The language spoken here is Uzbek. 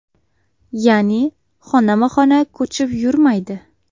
Ya’ni xonama-xona ko‘chib yurmaydi.